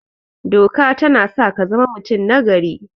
Doka tana sa kazama mutum nagari